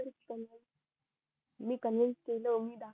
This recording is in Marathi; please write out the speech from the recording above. मी कॉन्व्हेन्स केलं त्याना